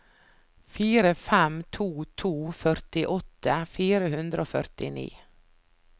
fire fem to to førtiåtte fire hundre og førtini